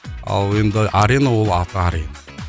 ал енді арена ол аты арена